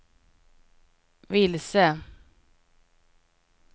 vilse